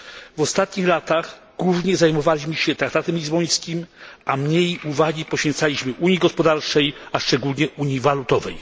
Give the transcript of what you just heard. W ostatnich latach głównie zajmowaliśmy się traktatem lizbońskim, a mniej uwagi poświęcaliśmy unii gospodarczej, a szczególnie unii walutowej.